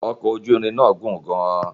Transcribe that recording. ọkọ̀ ojú irin náà gùn gan-an